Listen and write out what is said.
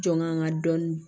Jɔn ŋa nga dɔɔni